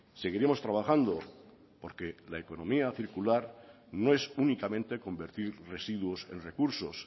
seguiremos trabajando porque la economía circular no es únicamente convertir residuos en recursos